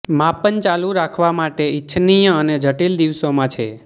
માપન ચાલુ રાખવા માટે ઇચ્છનીય અને જટિલ દિવસોમાં છે